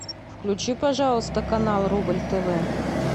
включи пожалуйста канал рубль тв